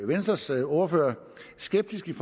venstres ordfører skeptisk